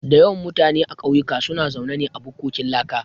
Da yawan mutane a kauyuka suna zaune ne a bukkokin laka